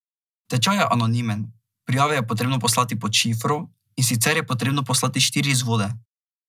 Tečaj je anonimen, prijave je potrebno poslati pod šifro, in sicer je potrebno poslati štiri izvode.